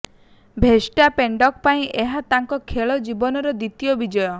ଭେର୍ଷ୍ଟାପେନ୍ଙ୍କ ପାଇଁ ଏହା ତାଙ୍କ ଖେଳ ଜୀବନର ଦ୍ୱିତୀୟ ବିଜୟ